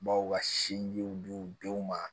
Baw ka sinjiw di denw ma